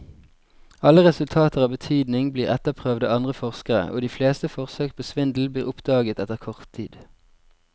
Alle resultater av betydning blir etterprøvd av andre forskere, og de fleste forsøk på svindel blir oppdaget etter kort tid.